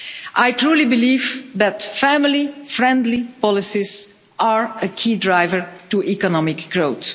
I truly believe that family friendly policies are a key driver to economic growth.